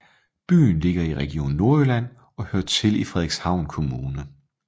Byen ligger i Region Nordjylland og hører til Frederikshavn Kommune